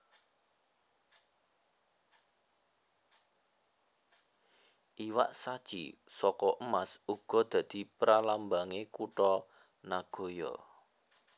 Iwak shachi saka emas uga dadi pralambange kutha Nagoya